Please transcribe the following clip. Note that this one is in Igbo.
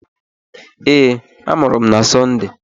Ee, amụrụ m na Sọnde.